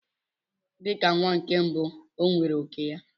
Dị ka nwa nke mbụ, o nwere òkè ya.